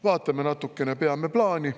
Vaatame natukene, peame plaani.